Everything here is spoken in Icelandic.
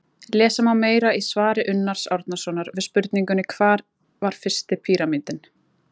lesa má meira í svari unnars árnasonar við spurningunni hvar var fyrsti píramídinn